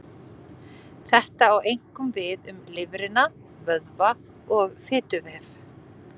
Þetta á einkum við um lifrina, vöðva og fituvef.